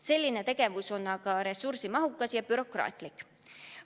Selline tegevus on aga ressursimahukas ja bürokraatlik.